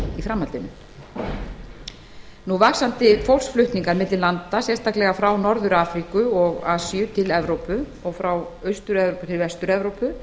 í framhaldinu vaxandi fólksflutningar milli landa sérstaklega frá norður afríku og asíu til evrópu og frá austur evrópu til vestur evrópu